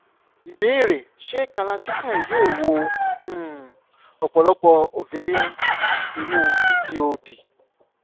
ìbéèrè: ṣé kalarchikai yóò wo um ọ̀pọ̀lọpọ̀ ovarian cysts nínú pcod?